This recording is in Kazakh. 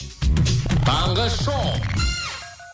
таңғы шоу